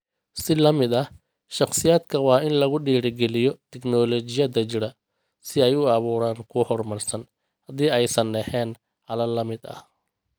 Si la mid ah, shakhsiyaadka waa in lagu dhiirigeliyo tignoolajiyada jira si ay u abuuraan kuwo horumarsan, haddii aysan ahayn xalal la mid ah.